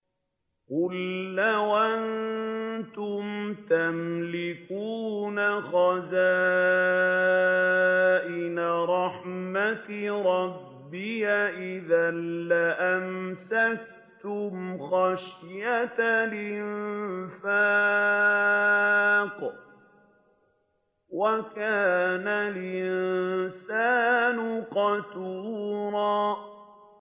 قُل لَّوْ أَنتُمْ تَمْلِكُونَ خَزَائِنَ رَحْمَةِ رَبِّي إِذًا لَّأَمْسَكْتُمْ خَشْيَةَ الْإِنفَاقِ ۚ وَكَانَ الْإِنسَانُ قَتُورًا